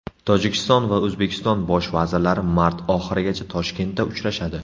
Tojikiston va O‘zbekiston bosh vazirlari mart oxirigacha Toshkentda uchrashadi.